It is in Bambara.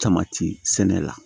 Tamati sɛnɛ la